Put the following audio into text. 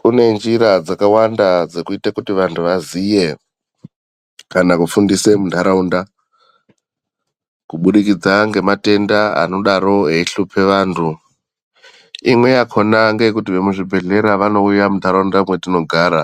Kune njira dzakawanda dzekuite kuti wanhu waziye, kana kufundise mundaraunda kubudikidza ngematenda anodaro wei shupe wanhu, imwe yakhona ngekuti wemuzvibhedhlera wanouya munharaunda mwetinogara